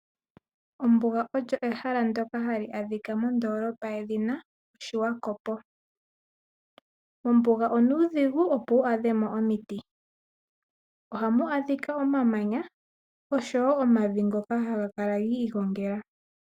Ombuga olyo ehala ndoka hali adhika modoolopa yedhina Oshiwakopo . Mombuga onuudhigu opo wu adhemo omiti. Ohamu adhika omamanya oshowo omavi ngoka haga kala gi igongela.